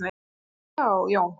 Já, Jón.